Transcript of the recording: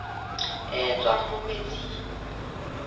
e e tswang mo metsing